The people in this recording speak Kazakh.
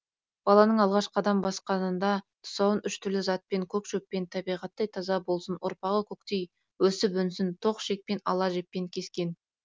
баланың алғаш қадам басқанында тұсауын үш түрлі затпен көк шөппен табиғаттай таза болсын ұрпағы көктей өсіп өнсін тоқ ішекпен ала жіппен кескен